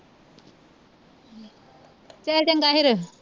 ਚਲ ਚੰਗਾ ਫਿਰ